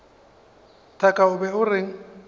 thaka o be o reng